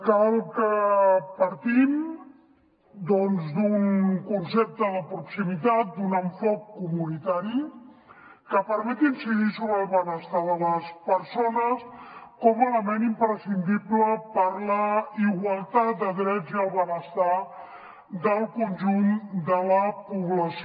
cal que partim doncs d’un concepte de proximitat d’un enfocament comunitari que permeti incidir sobre el benestar de les persones com a element imprescindible per a la igualtat de drets i benestar del conjunt de la població